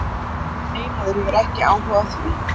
Nei, maður hefur ekki áhuga á því.